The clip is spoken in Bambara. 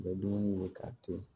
Bɛ dumuni ye k'a to